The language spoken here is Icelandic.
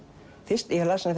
ég las